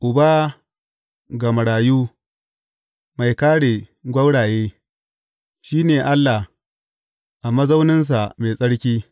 Uba ga marayu, mai kāre gwauraye, shi ne Allah a mazauninsa mai tsarki.